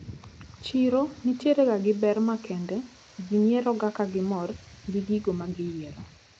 Chiro nitierega gi ber makende, ji nyieroga kagimor gi gigo magiyiero.